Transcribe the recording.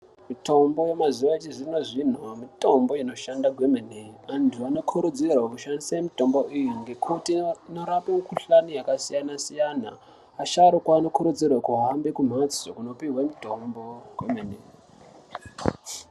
Mitombo yemazuwa echizvino zvino Mitombo inoshanda kwemene antu anokurudziru kushandise mitombo iyi ngekuti inorape kuhlani yakasiyana siyana asharuka anokurudzirwe kuhambe kumhatso kundopiwe mutombo kwemene.